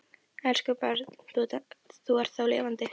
Elsku barn, þú ert þá lifandi.